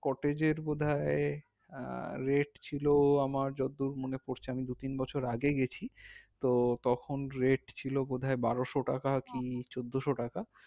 cottage এর বোধাই আহ rate ছিল আমার যতদূর মনে পড়ছে আমি দু তিন বছর আগে গেছি তো তখন rate ছিল বোধাই বারোসো টাকা কি চোদ্দোসো টাকা